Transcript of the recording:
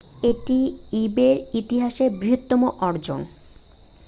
এটি ইবে'র ইতিহাসের বৃহত্তম অর্জন